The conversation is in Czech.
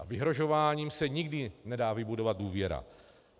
A vyhrožováním se nikdy nedá vybudovat důvěra.